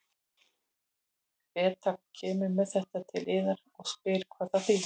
Beta kemur með þetta til yðar og spyr hvað það þýðir.